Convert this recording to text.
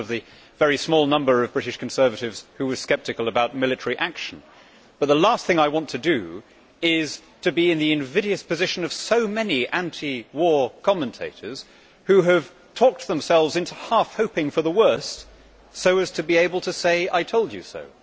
I was one of the very small number of British Conservatives who were sceptical about military action, but the last thing I want to do is to be in the invidious position of so many anti war commentators who have talked themselves into half hoping for the worst, so as to be able to say I told you so'.